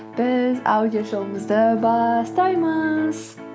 біз аудио шоуымызды бастаймыз